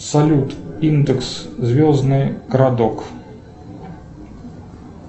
салют индекс звездный городок